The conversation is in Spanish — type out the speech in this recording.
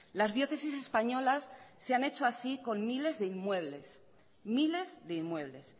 las diócesis españolas se han hecho así con miles de inmuebles miles de inmuebles